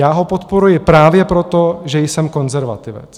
Já ho podporuji právě proto, že jsem konzervativec.